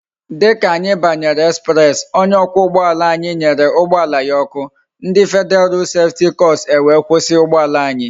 Dika anyi banyere express, onye okwa ugboala anyi nyere ugboala ya oku, ndi federal road safety corps e wee kwusi ugboala anyi